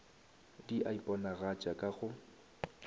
di a iponagatša ka go